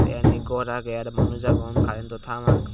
te indi gor agey araw manus agon current to tar.